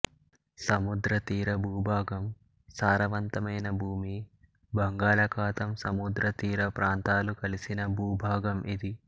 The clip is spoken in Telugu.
సముద్రతీర భూభాగం సారవంతమైన భూమి బంగాళాఖాతం సముద్రతీర ప్రాంతాలు కలిసిన భూభాగం ఇది